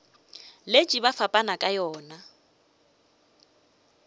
letše ba fapana ka yona